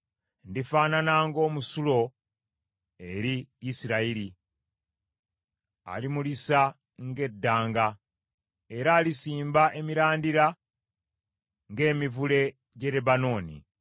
Ndifaanana ng’omusulo eri Isirayiri: alimulisa ng’eddanga, era alisimba emirandira ng’emivule gy’e Lebanooni.